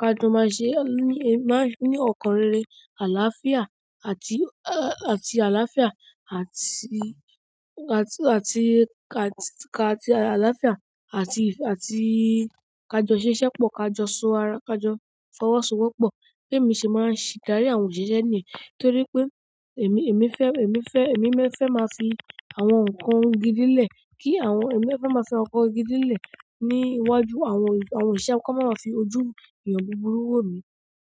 ka jọ máa ṣe, máa ń ní ọkàn rere, àlàáfíà àti, àti àlàáfíà àti, àti, àti, àti àlàáfíà àti, àti ka jọ ṣiṣẹ́ pọ̀, ka jọ so ara, ka jọ fọwọ́sowọ́pọ̀ bí èmi se máa sì darí àwọn òṣìṣẹ́ ní yí torí pé èmi, èmi fẹ́, èmi fẹ́, èmi fẹ́ máa fi àwọn nǹkan gidi lẹ́ẹ̀ kí àwọn, èmi fẹ́ máa fi nkàn gidi lẹ́ẹ̀ ní iwájú àwọn, àwọn òṣìṣẹ́ kán máa ma fi ojú ènìyàn búburú wò mi.